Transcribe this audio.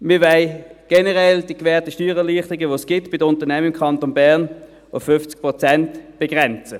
Wir wollen generell die gewährten Steuererleichterungen, die es bei den Unternehmen im Kanton Bern gibt, auf 50 Prozent begrenzen.